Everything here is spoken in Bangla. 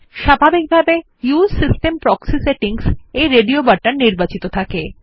স্বাভাবিকভাবে উসে সিস্টেম প্রক্সি সেটিংস এর রেডিও বাটন নির্বাচিত থাকে